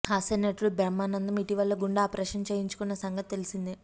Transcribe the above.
హాస్య నటుడు బ్రహ్మానందం ఇటీవల గుండె ఆపరేషన్ చేయించుకున్న సంగతి తెలిసిందే